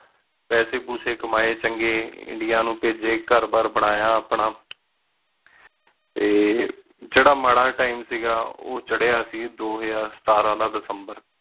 ਪੇਸੀ ਕਮੀ ਚੰਗੀ ਇੰਡੀਆ ਨੌ ਭੇਜੀ ਘਰ ਬਾਰ ਬਨਾਯਾ ਆਪਣਾ ਟੀ ਜੇਰਾ ਮਰਾ time ਸੀ ਗਾ ਓਹ ਚ੍ਰ੍ਹ੍ਯਾ ਸੀ ਦੋ ਹਜ਼ਾਰ ਸਤਰ ਦਾ ਦਿਸੰਬਰ